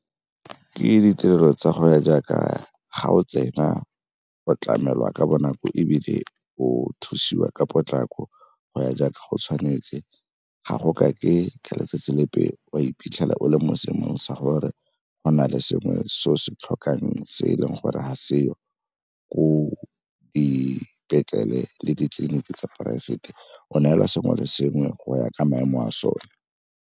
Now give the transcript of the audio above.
Ke ditirelo tsa go ya jaaka ga o tsena o tlamelwa ka bonako ebile o thusiwa ka potlako go ya jaaka go tshwanetse. Ga go ka ke ka letsatsi lepe wa iphitlhela o le mo seemong sa gore go na le sengwe se o se tlhokang se e leng gore ga seo ko dipetlele le ditleliniki tsa poraefete, o neela sengwe le sengwe go ya ka maemo a sone.